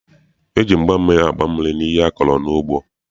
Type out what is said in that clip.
E ji mgba mmiri agba mmiri n'ihe a kọrọ n'ugbo.